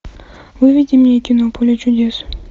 выведи мне кино поле чудес